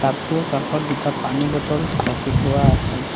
Tub টোৰ কাষত দুটা পানী বটল ৰাখি থোৱা আছে।